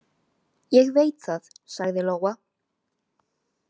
Ég veit það, sagði Lóa.